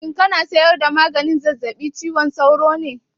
Shin kana saida maganin zazzabib cizon sauro ne?